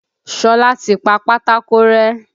Ṣọlá ti pa pátákó rẹ́.